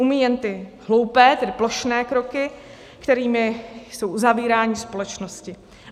Umí jen ty hloupé, tedy plošné kroky, kterými jsou uzavírány společnosti.